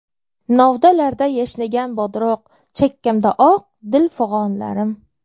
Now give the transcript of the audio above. Novdalarda yashnagan bodroq, Chakkamda oq, dil fig‘onlarim.